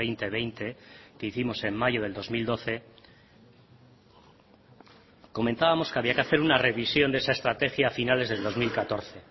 dos mil veinte que hicimos en mayo del dos mil doce comentábamos que había que hacer una revisión de esa estrategia a finales del dos mil catorce